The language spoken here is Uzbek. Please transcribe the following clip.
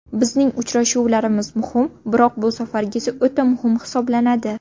Bizning uchrashuvlarimiz muhim, biroq bu safargisi o‘ta muhim hisoblanadi.